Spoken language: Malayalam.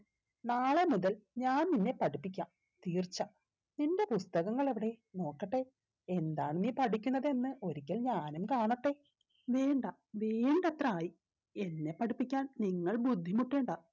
നാളെ മുതൽ ഞാൻ നിന്നെ പഠിപ്പിക്കാം തീർച്ച നിന്റെ പുസ്തകങ്ങൾ എവിടെ നോക്കട്ടെ എന്താ നീ പഠിക്കുന്നത് എന്ന് ഒരിക്കൽ ഞാനും കാണട്ടെ വേണ്ട വേണ്ടത്ര ആയ് എന്നെ പഠിപ്പിക്കാൻ നിങ്ങൾ ബുദ്ധിമുട്ടേണ്ട